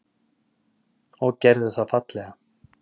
Og gerðu það fallega.